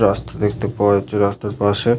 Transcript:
রাস্তা দেখতে পাওয়া যাচ্ছে। রাস্তার পাশে --